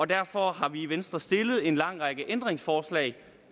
derfor har vi i venstre stillet en lang række ændringsforslag